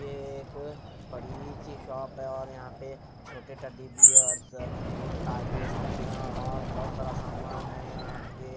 ये एक बड़ी सी शॉप है और यहाँ पे छोटे टडी बियर्स तागे सुईया और बहुत सारा सामान है यहाँ पे।